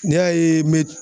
N'i y'a ye n mɛ